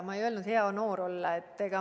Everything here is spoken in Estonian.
Ma ei öelnud: hea noor olla.